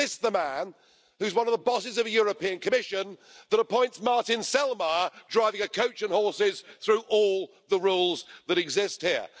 This is the man who is one of the bosses of the European Commission that appoints Martin Selmayr, driving a coach and horses through all the rules that exist here.